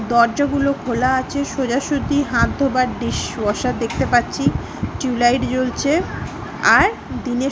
দরজা গুলো খোলা আছে সোজাসুজি হাত ধোবার দৃশ্য। ওয়াসার দেখতে পাচ্ছি টিউব লাইট জ্বলছে। আর দিনে --